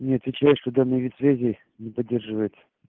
и отвечает что данный вид связи не поддерживает